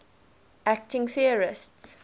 acting theorists